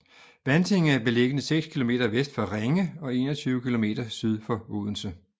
Vantinge er beliggende seks kilometer vest for Ringe og 21 kilometer syd for Odense